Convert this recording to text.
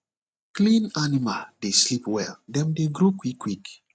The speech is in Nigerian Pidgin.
clean animal dey sleep well dem dey grow quick quick